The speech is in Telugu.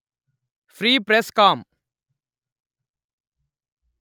free press com